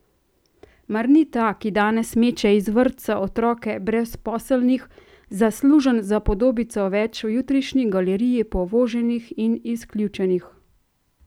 Mar ni ta, ki danes meče iz vrtca otroke brezposelnih, zaslužen za podobico več v jutrišnji galeriji povoženih in izključenih?